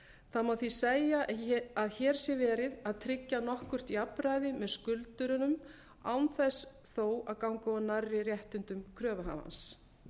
það má því segja að hér sé verið að tryggja nokkurt jafnræði með skuldurum án þess þó að ganga of nærri réttindum kröfuhafans